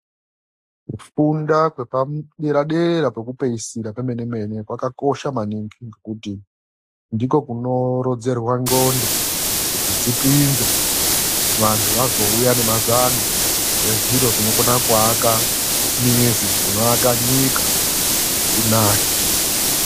Kufunda kwepadera dera kwekupeisira kwemene mene kwakakosha maningi ngekuti ndiko kunorodzerwa ndxondo kuti dzipinze. Vantu vazouya nemazano ezviro zvinokone kuvaka mizi, zvinokone kuvaka nyika kuti inake.